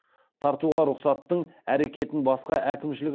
тартуға рұқсаттың әрекетін басқа әкімшілік